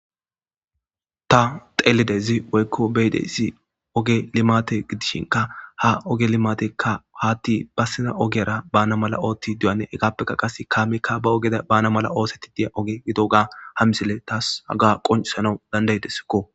Taa xelidayiss woyikko be'idayiss ogee limate gidishshinkka. haa ogee limateyikka hati besizza ogiyara bana mala ottide hanes.hegappe qase kameyikka baa ogera bana mala oththetti diya oge haa missileyi tasi haga qonccissanawu danida'idesskko .